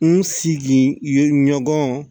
N sigi yen ɲɔgɔn